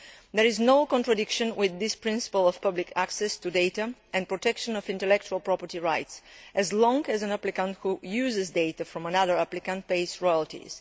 There is no contradiction with this principle of public access to data and protection of intellectual property rights, as long as an applicant who uses data from another applicant pays royalties.